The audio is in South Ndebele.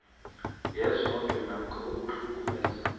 yenzondo namkha ukuhlukumeza